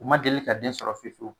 U ma deli ka den sɔrɔ fewu fewu